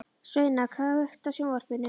Sveina, kveiktu á sjónvarpinu.